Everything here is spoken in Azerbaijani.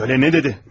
Hədi söylə, nə dedi?